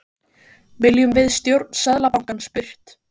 Hörður Torfason, skipuleggjandi: Viljum við stjórn Seðlabankans burt?